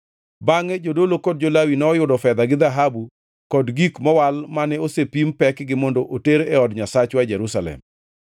Bangʼe jodolo kod jo-Lawi noyudo fedha gi dhahabu kod gik mowal mane osepim pekgi mondo ter e od Nyasachwa e Jerusalem.